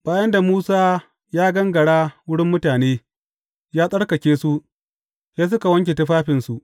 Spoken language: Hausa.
Bayan da Musa ya gangara wurin mutane, ya tsarkake su, sai suka wanke tufafinsu.